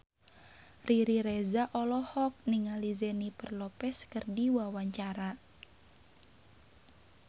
Riri Reza olohok ningali Jennifer Lopez keur diwawancara